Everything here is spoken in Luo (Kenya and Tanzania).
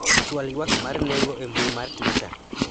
chwal ywak mar nengo e mbui mar twita